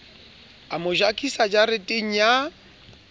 a mo jakisa jareteng ya